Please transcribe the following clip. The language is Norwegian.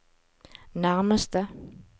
nærmeste